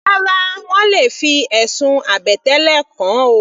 Rárá, wọ́n le fi ẹ̀sùn àbẹ̀tẹ́lẹ̀ kàn ọ́.